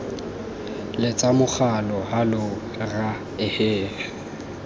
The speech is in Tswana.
letsa mogala hallow rra ehe